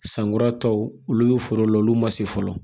Sankuratɔw olu bɛ foro la olu ma se fɔlɔ